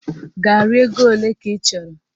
Garị ego ole ka ị chọrọ?